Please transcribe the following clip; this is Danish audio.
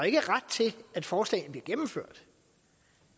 ikke ret til at forslagene bliver gennemført